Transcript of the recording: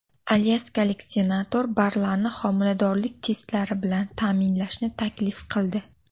Alyaskalik senator barlarni homiladorlik testlari bilan ta’minlashni taklif qildi.